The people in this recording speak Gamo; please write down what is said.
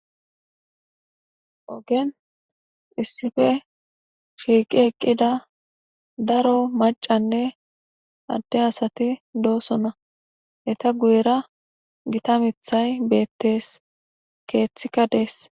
Ogen issipe shiiqi eqqida macca asatinne adde asati doosona. Eeta guyera gita miththi beetees. Keethika dees.